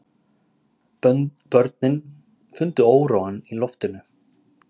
Börnin fundu óróann í loftinu.